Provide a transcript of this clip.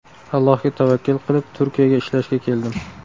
Allohga tavakkal qilib, Turkiyaga ishlashga keldim.